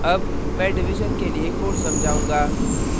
अब मैं division के लिए code समझाऊंगा